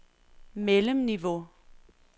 mellemniveau